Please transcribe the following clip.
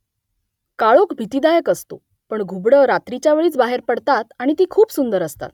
काळोख भीतीदायक असतो पण घुबडं रात्रीच्या वेळीच बाहेर पडतात आणि ती खूप सुंदर असतात